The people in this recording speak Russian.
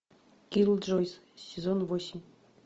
киллджойс сезон восемь